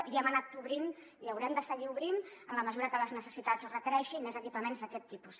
i hem anat obrint i haurem de seguir obrint en la mesura que les necessitats ho requereixin més equipaments d’aquest tipus